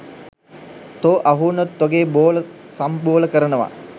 තෝ අහුවුනොත් තොගේ බෝල සම්බෝල කරනව